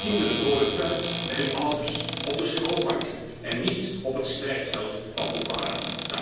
Deze kinderen horen thuis bij hun ouders, op de schoolbanken, en niet op het strijdveld van Boko Haram!